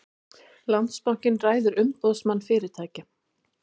Landsbankinn ræður Umboðsmann fyrirtækja